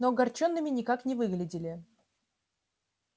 но огорчёнными никак не выглядели